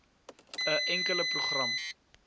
n enkele program